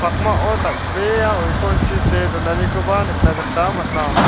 pakmao dal·bea oikorchi see donanikoba nikna gita man·a.